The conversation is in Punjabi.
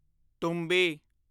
ਤੁੰਬੀ